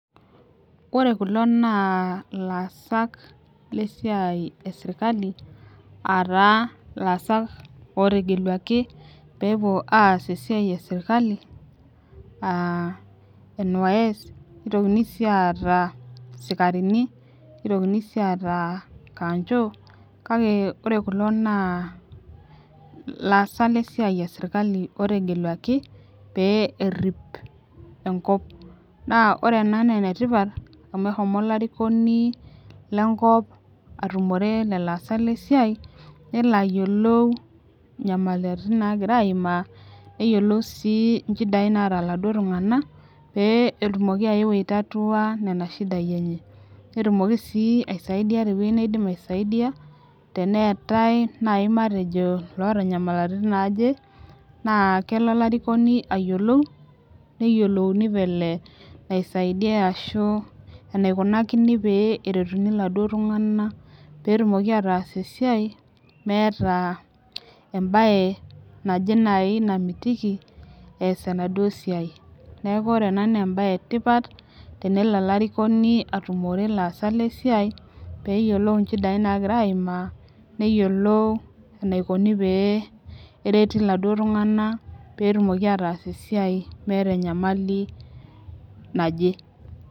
Ore kulo naa ilaasak lesiai esirkali aa taa ilaasak ootegelualki peepuo aas esiai esirkali aa NYS nitokini sii aata sikarini. nitokini sii aata kanjo. kake ore kulo naa ilaasak lesiai esirkali ootegelualki peyie erip enkop. naa ore ena naa enetipat amu eshomo olarikoni lenkop atumore lelo aasak le siai, nelo aayiolou inyamalitin naagira aimaa. neyiolou sii nchidai naata iladuoo tunganak, pee etumoki ayeu aitatua Nena shidai enye. netumoki sii aaisaidia te wueji neidim aisaidiaa teneetae naaji matejo loota nymaliritin naaje. naa kelo olarikoni aayiolou. neyiolouni vile naisaidia ashu enaikunani pee eretuni oladuoo tunganak. pee etumoki ataas esiai meeta ebae naje nasi namitiki ees enaduoo siai. neeku ore ena naa ebae. etipat tenelo olarikoni atumore ilaasak lesiai pee eyiolou inchidai naagira aimaa. neyiolou enaikoni pee ereti oladuoo tunganak pee etumoki ataas esiai meeta enyamali naje.